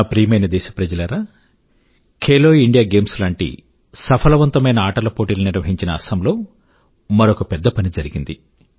నా ప్రియమైన దేశప్రజలారా ఖేలో ఇండియా గేమ్స్ లాంటి సఫలవంతమైన ఆటలపోటీలను నిర్వాహించిన అసమ్ లో మరొక పెద్ద పని జరిగింది